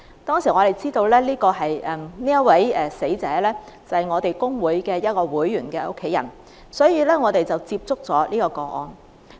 當我們知道這名死者是我們工會會員的家人後，我們進一步了解這宗個案。